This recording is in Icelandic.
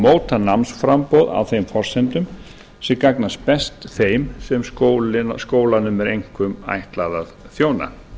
móta námsframboð á þeim forsendum sem gagnast best þeim sem skólanum er einkum ætlað að þjóna